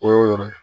O y'o yɔrɔ ye